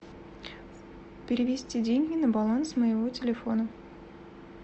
перевести деньги на баланс моего телефона